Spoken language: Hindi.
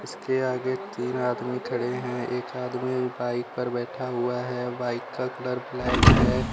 इसके आगे तीन आदमी खड़े हैं। एक आदमी बाइक पर बैठा हुआ है। बाइक का कलर ब्लैक है।